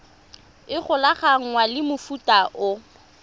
e golaganngwang le mofuta o